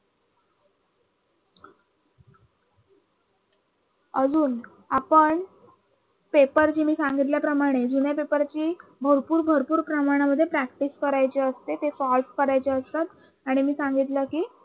अजून आपण paper जे मी सांगितल्याप्रमाणे जुन्या पेपरची भरपूर भरपूर प्रमाणामध्ये practice करायची असते ते solve करायचे असतात आणि मी सांगितल कि